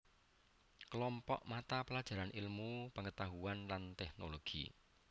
Klompok mata pelajaran ilmu pengetahuan lan teknologi